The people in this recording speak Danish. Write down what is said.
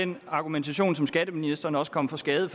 den argumentation som skatteministeren også kom for skade at